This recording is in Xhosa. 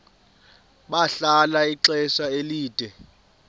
bahlala ixesha elide